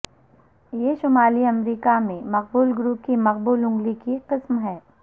یہ شمالی امریکہ میں مقبول گروپ کی مقبول انگلی کی قسم ہے